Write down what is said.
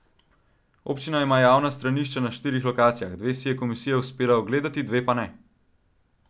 Občina ima javna stranišča na štirih lokacijah, dve si je komisija uspela ogledati, dveh pa ne.